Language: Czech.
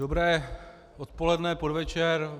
Dobré odpoledne, podvečer.